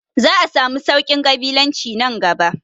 Za a samu sauƙin ƙabilanci nan gaba